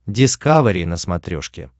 дискавери на смотрешке